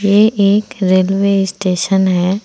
ये एक railway station है।